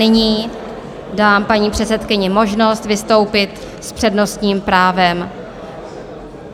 Nyní dám paní předsedkyni možnost vystoupit s přednostním právem.